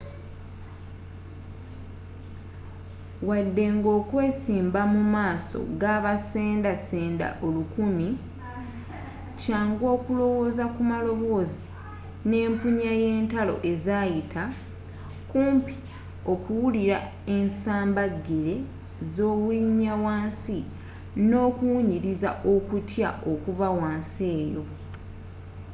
wadde nga okwesimba mu maaso gabasenda senda olukumi kyangu okulowooza ku maloboozi n'empunya y'entalo ezaayita kumpi okuwulira ensamba gele z'obulinya wansi n'okuwunyiriza okutya okuva wansi eyo